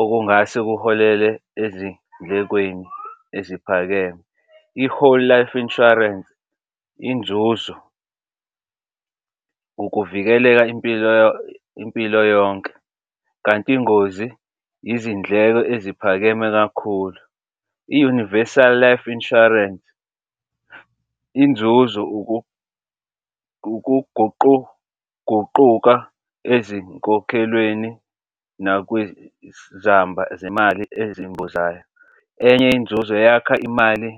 okungase kuholele ezindlekweni eziphakeme. I-whole life insurance inzuzo ukuvikeleka impilo impilo yonke, kanti ingozi izindleko eziphakeme kakhulu. I-universal life insurance inzuzo ukuguquguquka ezinkokhelweni zemali ezimbozayo. Enye inzuzo yakha imali.